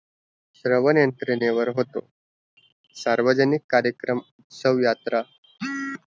तीरावर end trve होतो सार्वजिनिक कराकिरियम सव यात्रा